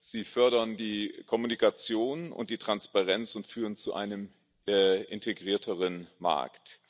Sie fördern die Kommunikation und die Transparenz und führen zu einem integrierteren Markt.